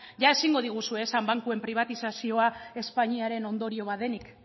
ia ezingo diguzue esan bankuen pribatizazioa espainiaren ondorio bat denik